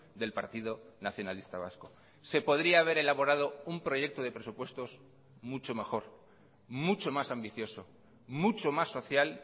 del partido nacionalista vasco se podría haber elaborado un proyecto de presupuestos mucho mejor mucho más ambicioso mucho más social